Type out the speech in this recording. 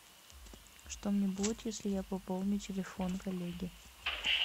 что мне будет если я пополню телефон коллеги